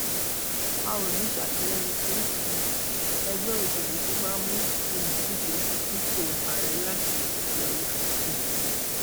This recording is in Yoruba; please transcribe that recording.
a ò ní í sàtìlẹyìn fún um ẹgbẹ òṣèlú tó bá mú òǹdíje fúnpọ ààrẹ láti òkèọyà um